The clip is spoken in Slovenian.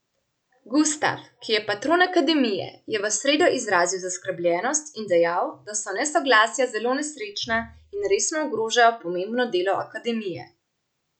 Gustaf, ki je patron akademije, je v sredo izrazil zaskrbljenost in dejal, da so nesoglasja zelo nesrečna in resno ogrožajo pomembno delo akademije.